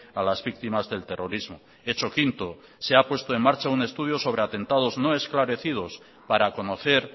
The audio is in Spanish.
a las víctimas del terrorismo hecho quinto se ha puesto en marcha un estudio sobre atentados no esclarecidos para conocer